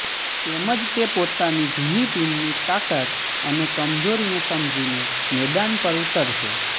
તેમજ તે પોતાની જુની ટીમની તાકાત અને કમજોરીને સમજીને મેદાન પર ઉતરશે